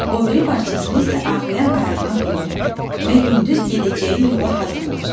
O biri parçasını isə ağrıyan ayağına doladı və gündüz gedəcəyi yola hazırlaşdı.